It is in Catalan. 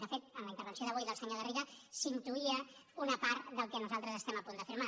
de fet en la intervenció d’avui del senyor garriga s’intuïa una part del que nosaltres estem a punt d’afirmar